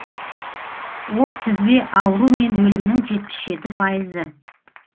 ол тізбе ауру мен өлімнің жетпіс жеті пайызы